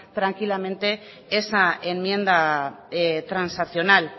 tranquilamente esa enmienda transaccional